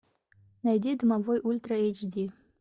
найди домовой ультра эйч ди